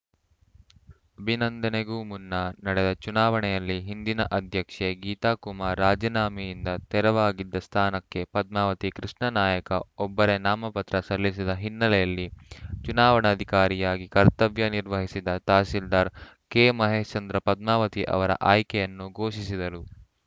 ಅಭಿನಂದನೆಗೂ ಮುನ್ನ ನಡೆದ ಚುನಾವಣೆಯಲ್ಲಿ ಹಿಂದಿನ ಅಧ್ಯಕ್ಷೆ ಗೀತಾ ಕುಮಾರ್ ರಾಜಿನಾಮೆಯಿಂದ ತೆರವಾಗಿದ್ದ ಸ್ಥಾನಕ್ಕೆ ಪದ್ಮಾವತಿ ಕೃಷ್ಣಾನಾಯಕ ಒಬ್ಬರೇ ನಾಮಪತ್ರ ಸಲ್ಲಿಸಿದ ಹಿನ್ನೆಲೆಯಲ್ಲಿ ಚುನಾವಣಾಧಿಕಾರಿಯಾಗಿ ಕರ್ತವ್ಯ ನಿರ್ವಹಿಸಿದ ತಹಸೀಲ್ದಾರ್ ಕೆಮಹೇಶ್ಚಂದ್ರ ಪದ್ಮಾವತಿ ಅವರ ಆಯ್ಕೆಯನ್ನು ಘೋಷಿಸಿದರು